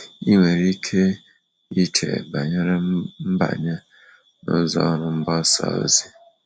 Ị nwere ike iche banyere ịbanye n’ụzọ ọrụ mgbasa ozi?